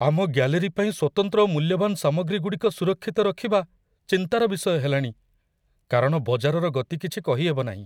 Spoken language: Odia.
ଆମ ଗ୍ୟାଲେରୀ ପାଇଁ ସ୍ଵତନ୍ତ୍ର ଓ ମୂଲ୍ୟବାନ ସାମଗ୍ରୀଗୁଡ଼ିକ ସୁରକ୍ଷିତ ରଖିବା ଚିନ୍ତାର ବିଷୟ ହେଲାଣି, କାରଣ ବଜାରର ଗତି କିଛି କହି ହେବନାହିଁ ।